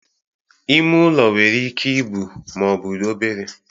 Ime ụlọ nwere ike ibu ma ọ bụ obere